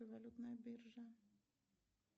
валютная биржа